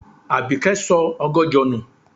Àbíkẹ́ sọ ọgọ́jọ nù.